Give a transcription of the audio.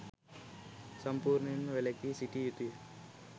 සම්පූර්ණයෙන්ම වැළකී සිටිය යුතුය.